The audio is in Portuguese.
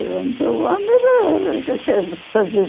fazes.